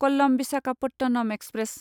कल्लम Visakhapatnam express